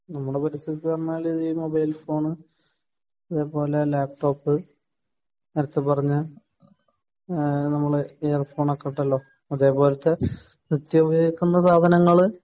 ഞങ്ങടെ പരിസരത്ത് എന്ന് പറഞ്ഞാൽ ഈ മൊബൈൽ ഫോണ് അതേപോലെ ലാപ്ടോപ്പ് നേരത്തെ പറഞ്ഞ ഈഹ് നമ്മളെ ഇയർഫോൺ ഒക്കെ ഉണ്ടല്ലോ അതേപോലത്തെ നിത്യോപിക്കുന്ന സാധനങ്ങള്